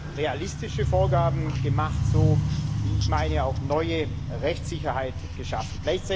Wir haben realistische Vorgaben gemacht und wie ich meine auch neue Rechtssicherheit geschaffen.